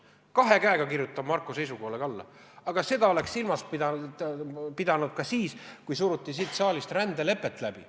Kahe käega kirjutan Marko seisukohale alla, aga seda oleks tulnud silmas pidada ka siis, kui siin saalis rändelepet läbi suruti.